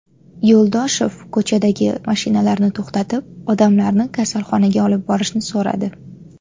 Yo‘ldoshev ko‘chadagi mashinalarni to‘xtatib, odamlarni kasalxonaga olib borishni so‘radi.